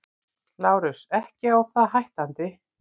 LÁRUS: Ekki á það hættandi.